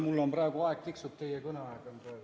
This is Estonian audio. Mul praegu aeg tiksub, teie kõneaeg on praegu.